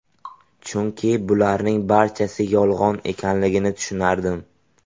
Chunki bularning barchasi yolg‘on ekanligini tushunardim.